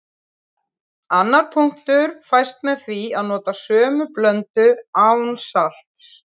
Annar punktur fæst með því að nota sömu blöndu án salts.